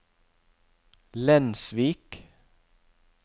Lensvik